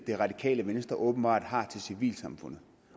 det radikale venstre åbenbart har til civilsamfundet